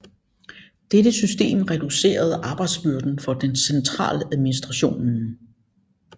Dette system reducerede arbejdsbyrden for den centraladministrationen